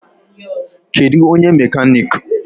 Kedụ onye mekanik?